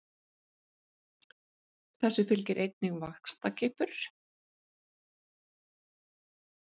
Þessu fylgir einnig vaxtarkippur.